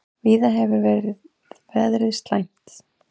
Víða hefur veður verið afar slæmt